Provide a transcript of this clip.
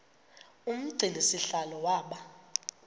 umgcini sihlalo waba